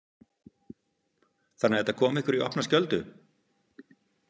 Þannig að þetta kom ykkur í opna skjöldu?